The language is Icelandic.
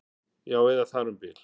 Já, eða þar um bil